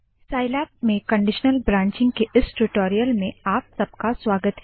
Scilab में conditional branching के इस टूटोरियल में आप सबका स्वागत है